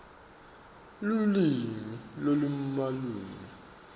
lulwimi lolumalula